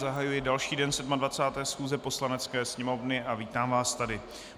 Zahajuji další den 27. schůze Poslanecké sněmovny a vítám vás tady.